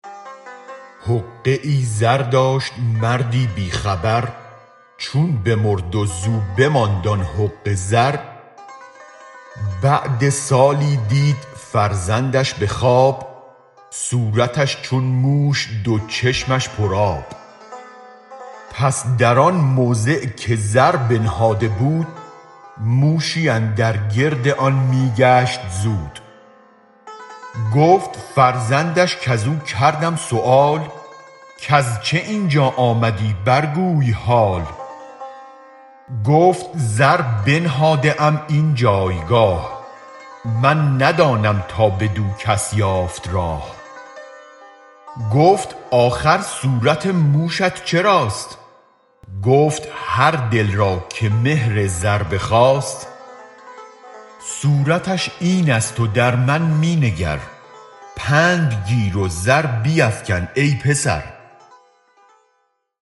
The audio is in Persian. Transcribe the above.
حقه ای زر داشت مردی بی خبر چون بمرد و زو بماند آن حقه زر بعد سالی دید فرزندش به خواب صورتش چون موش و دو چشمش پر آب پس در آن موضع که زر بنهاده بود موشی اندر گرد آن می گشت زود گفت فرزندش کزو کردم سؤال کز چه این جا آمدی بر گوی حال گفت زر بنهاده ام این جایگاه من ندانم تا بدو کس یافت راه گفت آخر صورت موشت چراست گفت هر دل را که مهر زر بخاست صورتش این ست و در من می نگر پند گیر و زر بیفکن ای پسر